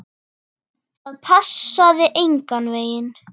Það passaði engan veginn.